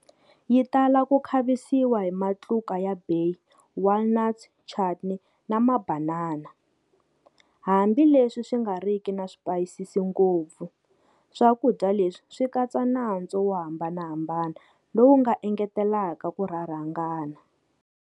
Yitala ku khavisiwa hi matluka ya bay, walnuts, chutney na mabanana. Hambileswi swi nga riki na swipayisisi ngopfu, swakudya leswi swi katsa nantswo wo hambanahambana lowu nga engetelaka ku rharhangana.